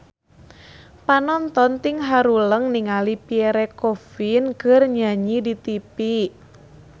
Panonton ting haruleng ningali Pierre Coffin keur nyanyi di tipi